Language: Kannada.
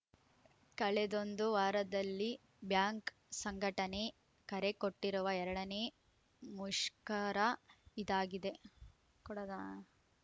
ಕಳೆದೊಂದು ವಾರದಲ್ಲಿ ಬ್ಯಾಂಕ್‌ ಸಂಘಟನೆ ಕರೆಕೊಟ್ಟಿರುವ ಎರಡ ನೇ ಮುಷ್ಕರ ಇದಾಗಿದೆ ಕೊಡದ